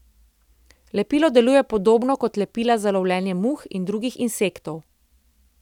Lepilo deluje podobno kot lepila za lovljenje muh in drugih insektov.